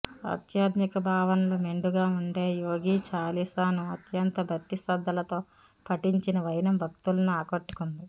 ఆధ్యాత్మిక భావనలు మెండుగా ఉండే యోగి చాలీసాను అత్యంత భక్తిశ్రద్ధలతో పఠించిన వైనం భక్తులను ఆకట్టుకుంది